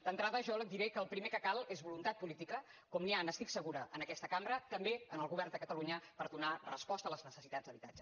d’entrada jo li diré que el primer que cal és voluntat política com n’hi ha n’estic segura en aquesta cambra també en el govern de catalunya per donar resposta a les necessitats d’habitatge